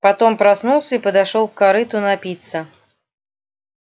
потом проснулся и подошёл к корыту напиться